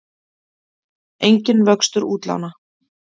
Enginn vöxtur útlána